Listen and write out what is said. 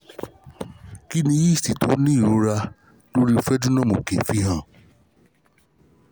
kini yeast ti o ni o ni irora lori frenulum oke fihan?